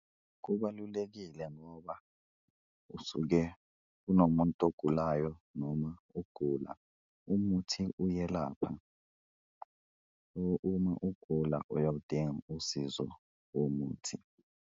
Kubalulekile ngoba usuke kunomuntu ogulayo noma ugula umuthi uyelapha, uma ugula uyawudinga usizo womuthi.